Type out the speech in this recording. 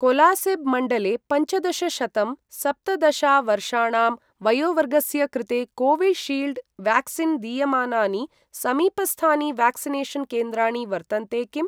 कोलासिब् मण्डले पञ्चदशशतं सप्तदशा वर्षाणां वयोवर्गस्य कृते कोविशील्ड् व्याक्सीन् दीयमानानि समीपस्थानि व्याक्सिनेषन् केन्द्राणि वर्तन्ते किम्?